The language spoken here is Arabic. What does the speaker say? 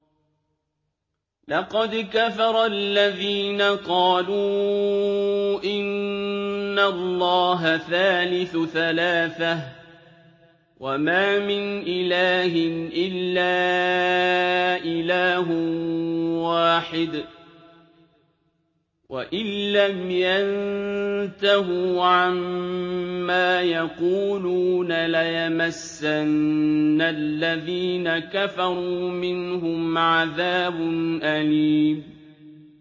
لَّقَدْ كَفَرَ الَّذِينَ قَالُوا إِنَّ اللَّهَ ثَالِثُ ثَلَاثَةٍ ۘ وَمَا مِنْ إِلَٰهٍ إِلَّا إِلَٰهٌ وَاحِدٌ ۚ وَإِن لَّمْ يَنتَهُوا عَمَّا يَقُولُونَ لَيَمَسَّنَّ الَّذِينَ كَفَرُوا مِنْهُمْ عَذَابٌ أَلِيمٌ